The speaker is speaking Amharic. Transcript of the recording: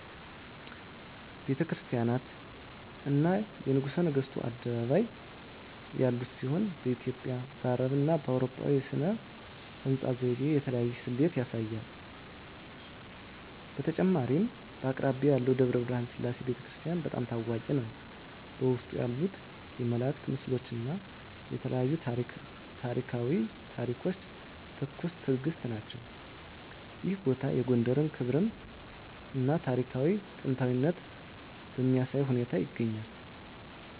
ቤተ ክርስቲያናት፣ እና የንጉሠ ነገሥቱ አደባባይ ያሉት ሲሆን፣ በኢትዮጵያ፣ አረብና አውሮፓዊ ሥነ ሕንፃ ዘይቤ የተለያየ ስሌት ያሳያል። በተጨማሪም አቅራቢያው ያለው ደብረ ብርሃን ሰላም ቤተ ክርስቲያን** በጣም ታዋቂ ነው፣ በውስጡ ያሉት የመላእክት ምስሎች እና የተለያዩ ታሪኳዊ ታሪኮች ትኩስ ትእግስት ናቸው። ይህ ቦታ የጎንደርን ክብራም እና ታሪካዊ ጥንታዊነት በሚያሳይ ሁኔታ ይገኛል።